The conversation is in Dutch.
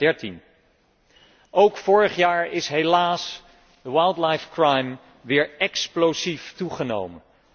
2013. Ook vorig jaar is helaas wildlife crime weer explosief toegenomen.